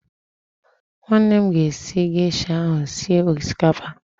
Nwanne m ga-esi gesha ahụ sie osikapa